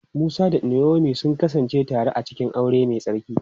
Musa da Naomi sun kasance tare a cikin aure mai tsarki.